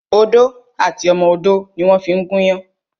Odó àti ọmọ odó ni wón fí ń gún iyán